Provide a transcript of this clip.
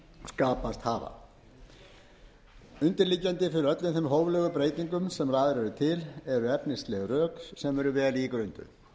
skapast hafa undirliggjandi fyrir öllum þeim hóflegu breytingum sem lagðar eru til eru efnisleg rök sem eru vel ígrunduð